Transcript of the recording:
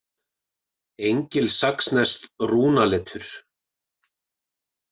Engilsaxneskt rúnaletur.